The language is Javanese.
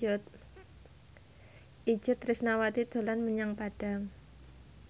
Itje Tresnawati dolan menyang Padang